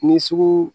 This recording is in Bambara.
Ni sugu